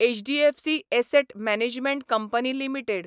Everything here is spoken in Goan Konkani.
HDFC asset management company limited